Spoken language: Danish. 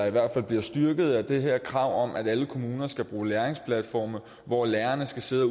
i hvert fald styrket af det her krav om at alle kommuner skal bruge læringsplatforme hvor lærerne skal sidde og